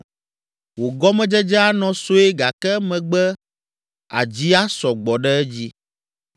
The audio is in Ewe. Wò gɔmedzedze anɔ sue gake emegbe àdzi asɔ gbɔ ɖe edzi.